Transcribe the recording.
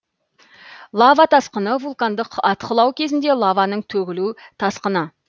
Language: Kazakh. лава тасқыны вулкандық атқылау кезінде лаваның төгілу тасқыны